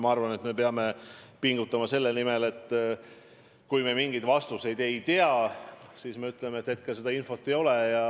Ma arvan, et me peame pingutama selle nimel, et kui me mingeid vastuseid ei tea, siis me ütleme, et hetkel seda infot ei ole.